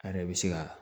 A yɛrɛ bɛ se ka